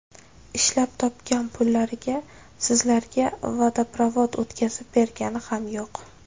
Ishlab topgan pullariga sizlarga vodoprovod o‘tkazib bergani ham yo‘q.